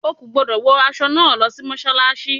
O kò gbúdọ̀ wọ aṣọ náà lọ sí Mọ́ṣálásí.